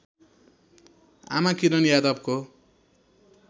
आमा किरण यादवको